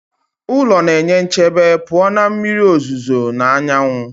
Ụlọ na-enye nchebe pụọ na mmiri ozuzo na anyanwụ